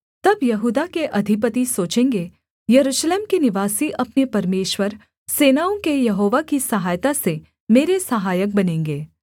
तब यहूदा के अधिपति सोचेंगे यरूशलेम के निवासी अपने परमेश्वर सेनाओं के यहोवा की सहायता से मेरे सहायक बनेंगे